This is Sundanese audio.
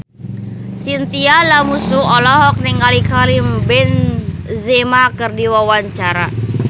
Chintya Lamusu olohok ningali Karim Benzema keur diwawancara